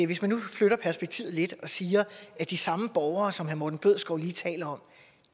hvis man nu flytter perspektivet lidt og siger at de samme borgere som herre morten bødskov lige taler om